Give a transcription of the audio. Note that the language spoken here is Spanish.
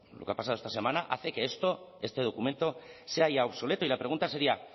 lo que ha pasado esta semana hace que este documento se halle obsoleto y la pregunta sería